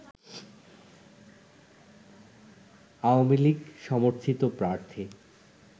আওয়ামী লীগ সমর্থিত প্রার্থী